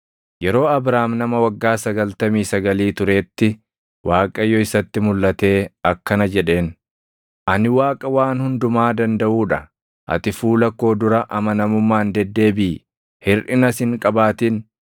Yeroo Abraam nama waggaa sagaltamii sagalii turetti Waaqayyo isatti mulʼatee akkana jedheen; “Ani Waaqa Waan Hundumaa Dandaʼuu dha; ati fuula koo dura amanamummaan deddeebiʼi; hirʼinas hin qabaatin.